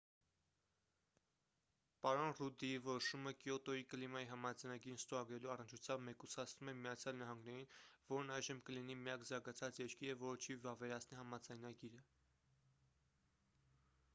պարոն ռուդդի որոշումը կիոտոյի կլիմայի համաձայնագիրն ստորագրելու առնչությամբ մեկուսացնում է միացյալ նահանգներին որն այժմ կլինի միակ զարգացած երկիրը որը չի վավերացնի համաձայնագիրը